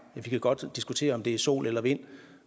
vi kan godt diskutere om det er sol eller vind